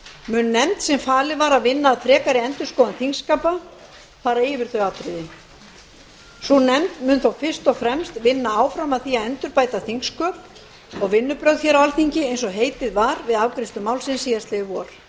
mun nefnd sem falið var að vinna að frekari endurskoðun þingskapa fara yfir þau atriði sú nefnd mun þó fyrst og fremst vinna að því að endurbæta þingsköp og vinnubrögð á alþingi eins og heitið var við afgreiðslu málsins síðastliðið vor